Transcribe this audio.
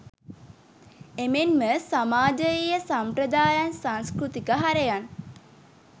එමෙන්ම සමාජයීය සම්ප්‍රදායන් සංස්කෘතික හරයන්